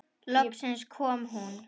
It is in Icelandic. Loksins kom hún.